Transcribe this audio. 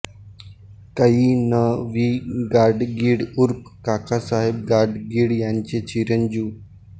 कै न वि गाडगीळ ऊर्फ काकासाहेब गाडगीळ यांचे चिरंजीव